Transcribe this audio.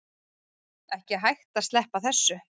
Ekki hægt að sleppa þessu